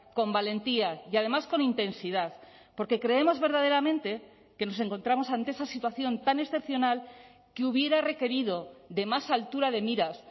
con valentía y además con intensidad porque creemos verdaderamente que nos encontramos ante esa situación tan excepcional que hubiera requerido de más altura de miras